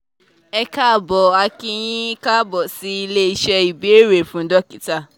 ẹ káàbọ̀ a kí yín káàbọ̀ sí ilé iṣẹ́ ìbéèrè fún dókítà